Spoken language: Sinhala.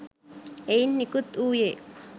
එයින් නිකුත් වූයේ